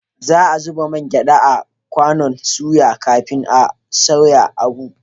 Za a zuba man gyada a kwanon soya kafin a soya abu